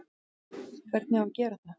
Hvernig á að gera það?